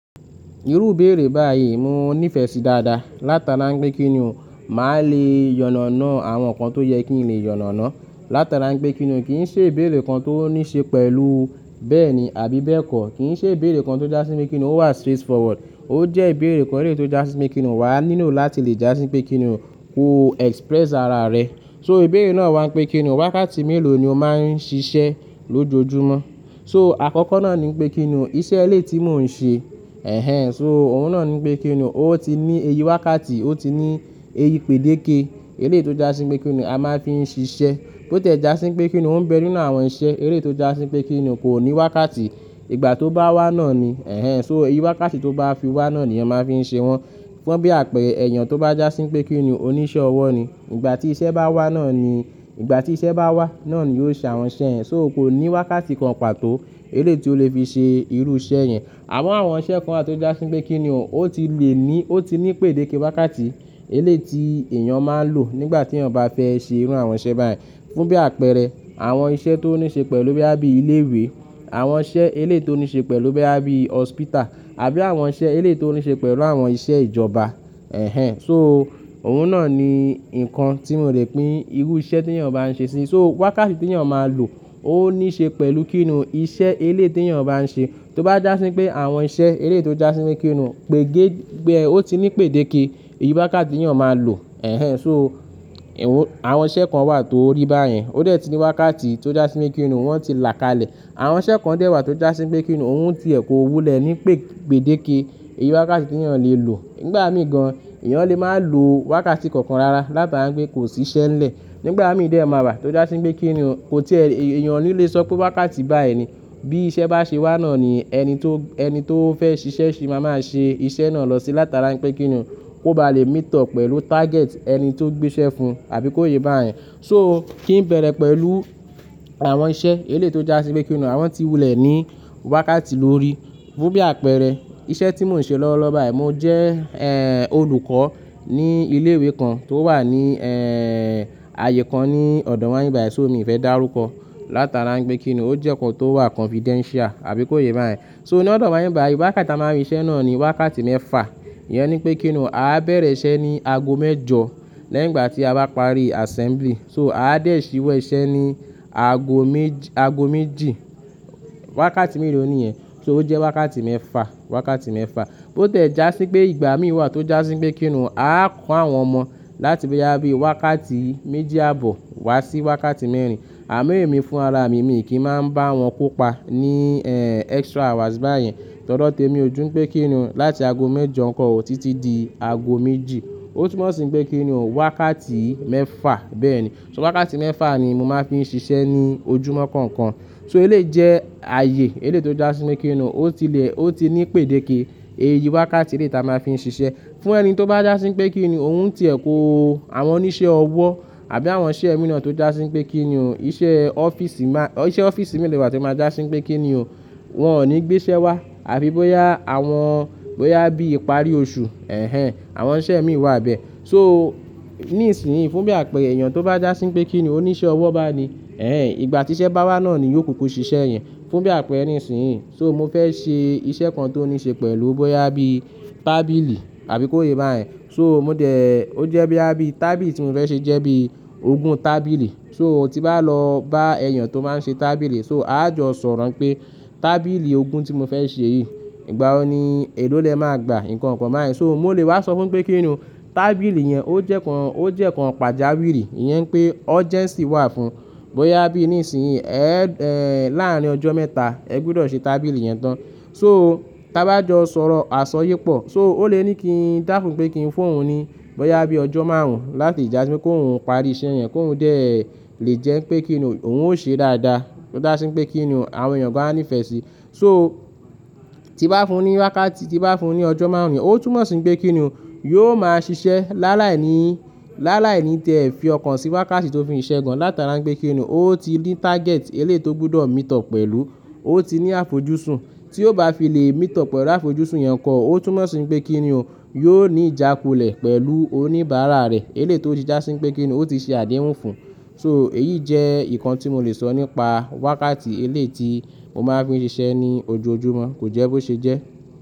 Irú ìbéèrè báyìí mo nífẹ̀ẹ́ sí dáadáa. Látara ń gbé kini o, màá le yànàná àwọn nǹkan tó yẹ kí n lè yànàná. Látara ń pe kini kì í ṣe ìbéèrè kan tó níí ṣe pẹ̀lú bẹ́ẹ̀ni àbí bẹ́ẹ̀kọ́. Kì í ṣe ìbéèrè kan tó jásín pé kinú ó wà straightforward. Ó jẹ́ ìbéèrè kan eré tó jásín pé kini wà nílo láti lè jásín pé kinú kó express ara rẹ. So ìbéèrè náà wá ń gbé kini o wákàtí mélòó ni o máa ń ṣiṣẹ́ lójoojúmọ́? So àkọ́kọ́ náà ni pé kini o iṣẹ́ eléyi ti mò ń ṣe. Ẹ̀hẹn! So òun náà ni pé kini ó ti ní eyi wákàtí, ó ti ní eyi pàdéke. Eleyi tó jásín pé kini a máa fi ń ṣiṣẹ́. Bó tẹ̀ jásín pé kini ó ń bẹrninú àwọn iṣẹ́, eleyi tó jásín pé kini kò ní wákàtí. Ìgbà tó bá wá náà ni, ẹ̀hẹn, so eyi wákàtí tó bá fi wá náà ni ẹyan máa fi ń ṣe wọ́n. Fún bí àpẹẹrẹ, èèyàn tó bá jásín pé kinú oníṣẹ́ ọwọ́ ni, ìgbà tí iṣẹ́ bá wá náà ni, ìgbà tí iṣẹ́ bá wá náà ni yóò ṣe àwọn iṣẹ́ ẹ. So o kò ní wákàtí kan pàtó elé tí o lè fi ṣe irú iṣẹ́ yẹn. Àmo àwọn iṣẹ́ kan àti ó jásín pé kini ó ti le ní, ó ti ní pàdéke wákàtí, elé tí èèyàn máa ń lò nígbà tí èèyàn bá fẹ́ ṣe irú àwọn iṣẹ́ báyìí. Fún bí àpẹẹrẹ, àwọn iṣẹ́ tó níí ṣe pẹ̀lú boya bí ilé ìwé, àwọn iṣẹ́ elé tó níí ṣe pẹ̀lú boya bí àbí hospital àbí àwọn iṣẹ́ elé tó níí ṣe pẹ̀lú àwọn iṣẹ́ ìjọba. Ẹ̀hẹn! So òun náà ni nǹkan tí mò ń rẹ̀ pé irú iṣẹ́ tí èèyàn bá ń ṣe sí. So wákàtí tí èèyàn máa ń lò ó níí ṣe pẹ̀lú kinú iṣẹ́ elé tí èèyàn bá ń ṣe. Tó bá jásín pé àwọn iṣẹ́ eré tó jásín pé kinú pè gé gbe, ó ti ní pàdéke eyi wákàtí tí èèyàn máa ń lò. Ẹ̀hẹn! So àwọn iṣẹ́ kan wà tó ríi báyìí. Ó dẹ̀ ti ní wákàtí tó jásín pé kinú wọ́n ti là kalẹ̀. Àwọn iṣẹ́ kan dẹ̀ wà tó jásín pé kini òun ti ẹ̀ kó wulẹ̀ ní pè pàdéke eyi wákàtí tí èèyàn lè lò. Nígbà mí gan-an, èèyàn lè máa ń lo wákàtí kankan rara látara ń gbé kò sí iṣẹ́ ńlẹ̀. Nígbà mí dẹ̀ máa rà tó jásín pé kinú kò tí è-- èèyàn ò ní le sọ pé wákàtí bá ẹ̀ni. Bí iṣẹ́ bá ṣe wá náà ni ẹni tó, ẹni tó fẹ́ ṣiṣẹ́ ṣe máa máa ṣe iṣẹ́ náà lọ sí látara ń pe kini kó bá lè meet up pẹ̀lú target ẹni tó gbéṣẹ́ fún àbí kó yé bá yẹn. So kí ń bẹ̀rẹ̀ pẹ̀lú àwọn iṣẹ́ eré tó jásín pé kini àwọn tí wulẹ̀ ní wákàtí lórí. Fún bí àpẹẹrẹ, iṣẹ́ tí mò ń ṣe lọ́wọ́lọ́wọ́ báyìí, mo jẹ́, ẹ́ẹ́, olùkọ́ ní ilé ìwé kan tó wà ní, ẹ́ẹ́, ààyè kan ní ọ̀dọ̀ wáì báyìí, so mí ò fẹ́ dá rúkọ látara ń pé kinú ó jẹ́ nkán tó wà confidential àbí kó yé bá yẹn. So ní ọ̀dọ̀ wáì báyìí wákàtí tí a máa ń rí iṣẹ́ náà ni wákàtí mẹ́fà. Iyẹn ni pé kini a á bẹ̀rẹ̀ iṣẹ́ ní ago mẹ́jọ lẹ́gbàá tí a bá parí assembly. So a á dẹ̀ síwọ́ iṣẹ́ ní ago méj- ago méjì. Wákàtí mélòó ni ìyẹn? So ó jẹ́ wákàtí mẹ́fà, wákàtí mẹ́fà. Bó tẹ̀ jásín pé ìgbà mí wà tó jásín pé kinú a á kọ́ àwọn ọmọ láti bí àbí wákàtí méjì àbọ̀ wá sí wákàtí mẹ́rin. Àmon emi fún ara mi mì kí ń máa ń bá wọn kópa ní, ẹ́ẹ́, extra hours báyìí. Torí todo tí èmi o jú pé kini láti ago mẹ́jọ kọ́ ó títí di ago méjì. Ó túmọ̀ sí pé kini o wákàtí mẹ́fà, bẹ́ẹ̀ni. So wákàtí mẹ́fà ni mo máa fi ń ṣiṣẹ́ ní ojúmọ́ kọ̀ọ̀kan. So ele jẹ́ ààyè elé tó jásín pé kini ó ti le, ó ti ní pàdéke eye wákàtí eré tí a máa fi ń ṣiṣẹ́. Fún ẹni tó bá jásín pé kini òun ti ẹ̀ kó àwọn oníṣẹ́ ọwọ́ àbí àwọn iṣẹ́ ẹ̀mí náà tó jásín pé kini iṣẹ́ ọ́fíìsì má-- iṣẹ́ ọ́fíìsì méi le wa to máa jásín pé kini wọ́n ò ní gbéṣẹ́ wá. Àbí bóyá àwọn, bóyá bí ìparí oṣù, ẹ̀hẹn, àwọn iṣẹ́ ẹ̀mí wà bẹ́ẹ̀. So ní ìsinyi fún bí àpẹẹrẹ, èèyàn tó bá jásín pé kini oníṣẹ́ ọwọ́ bá a ni, ẹ̀hẹn, ìgbà tí iṣẹ́ bá wá náà ni yóò kókó ṣiṣẹ́ ẹ́ yẹn. Fún bí àpẹẹrẹ nísinyi, so mo fẹ́ ṣe iṣẹ́ kan tó níí ṣe pẹ̀lú bóyá bí tábìlì àbí kó yé bá yẹn. So mo dẹ̀, ó jẹ́ bí àbí tábìlì tí mò ń fẹ́ ṣe jẹ́ bí ogún tábìlì. So tí bá lọ bá èèyàn tó máa ń ṣe tábìlì, so a á jọ sọ̀rọ̀ pé tábìlì ogún tí mo fẹ́ ṣe yìí ìgbà wo ni èló lè máa gba? Ìkànkàn bá yẹn. So ó lè wá sọ fún pé kini tábìlì yẹn ó jẹ́ nkán, ó jẹ́ nkán pàjàwìrì. Iyẹn pé urgency wà fún. Bóyá bí nísinyi, ẹ̀, ẹ̀, láàárín ọjọ́ mẹ́ta ẹ gbudọ̀ ṣe tábìlì yẹn tán. So táa bá jọ sọ̀rọ̀, a sọ ye pọ̀. So ó lè ní kí n dá fún pé kí n fún òun ní bóyá bí ọjọ́ márùn-ún láti jásín pé kó hun parí iṣẹ́ ẹ́ yẹn, kó hun dẹ̀ lè jẹ́ pé kini òun ó ṣe dáadáa. Tó jásín pé kini àwọn èèyàn gań a nífẹ̀ẹ́ sí. So tí bá fún ní wákàtí, tí bá fún ní ọjọ́ márùn-ún yẹn, ó túmọ̀ sí pé kini yio máa ṣiṣẹ́ láàláìní, láàláìní tí ẹ fi ọkàn sí wákàtí tó fi ń ṣe gan láti ara ń pe kini ó ti ní target eleyi tó gbọdọ̀ meet up pẹ̀lú. Ó ti ní àfojúsùn tí ó bá fi lè meet up pẹ̀lú àfojúsùn yẹn kọ́ ó túmọ̀ sí pé kini yóò ní ìjákulẹ̀ pẹ̀lú oníbàárà rẹ̀. Eré tó ti jásín pé kinú ó ti ṣe àdéhùn fún. So èyí jẹ́ nǹkan tí mò lè sọ nípa wákàtí eleyi tí mo máa fi ń ṣiṣẹ́ ní ojoojúmọ́. Kò jẹ́ bó ṣe jẹ́.